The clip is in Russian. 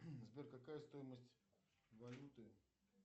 сбер какая стоимость валюты